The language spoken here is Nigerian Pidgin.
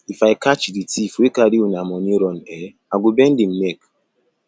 if i catch the thief wey carry una money run eh i go bend im neck